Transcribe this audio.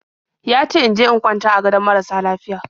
Ya ce in je in kwanta a gadon marasa lafiya.